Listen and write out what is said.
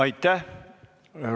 Aitäh!